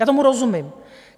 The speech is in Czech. Já tomu rozumím.